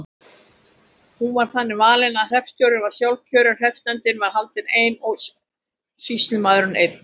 Hún var þannig valin að hreppstjóri var sjálfkjörinn, hreppsnefndin valdi einn og sýslumaður einn.